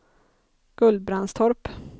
Gullbrandstorp